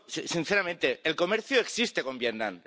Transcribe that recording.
Sinceramente, el comercio existe con Vietnam.